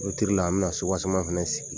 la an bi na fɛnɛ sigi.